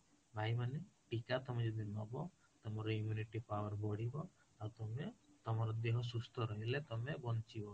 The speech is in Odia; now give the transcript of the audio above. ଭାଇମାନେ ଟୀକା ଯଦି ତମେ ନବ ତମ immunity power ବଢିବ ଆଉ ତମେ ତମ ଦେହ ସୁସ୍ତ ରହିଲେ ତମେ ବଞ୍ଚିବ